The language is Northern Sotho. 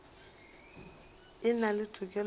e na le tokelo ya